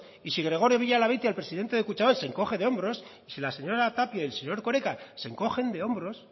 y si gregorio villalabeitia el presidente de kutxabank se encoge de hombros y si la señora tapia y el señor erkoreka se encogen de hombros